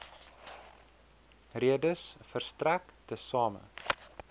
redes verstrek tesame